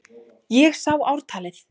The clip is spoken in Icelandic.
Ég sá ártalið!